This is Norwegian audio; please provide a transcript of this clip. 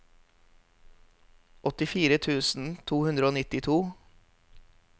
åttifire tusen to hundre og nittito